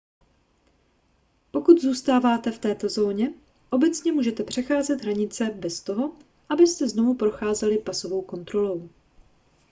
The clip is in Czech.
dokud zůstáváte v této zóně obecně můžete přecházet hranice bez toho abyste znovu procházeli pasovou kontrolou